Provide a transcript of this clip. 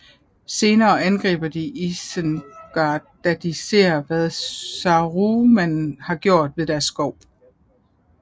Senere angriber de Isengard da de ser hvad Saruman har gjort ved deres skov